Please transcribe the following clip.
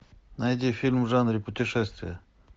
найди фильм в жанре путешествия